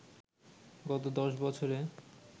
গত দশ বছরে